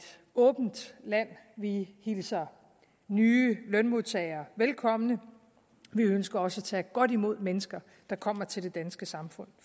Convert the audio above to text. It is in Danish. åbent land vi hilser nye lønmodtagere velkomne vi ønsker også at tage godt imod mennesker der kommer til det danske samfund